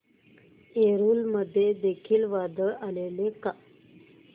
एलुरू मध्ये देखील वादळ आलेले का